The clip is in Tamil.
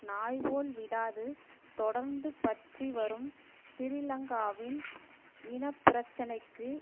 நாய் போல் விடாது தொடர்ந்து பற்றி வரும் சிறிலங்காவின் இனப்பிரச்சினைக்கு